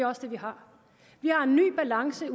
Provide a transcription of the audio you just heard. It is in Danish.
uanset